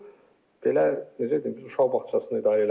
Yəni bu belə necə deyim, biz uşaq bağçasını idarə eləmirik də.